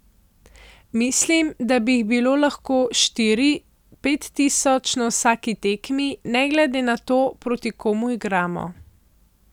Mislim, da bi jih bilo lahko štiri, pet tisoč na vsaki tekmi, ne glede na to, proti komu igramo.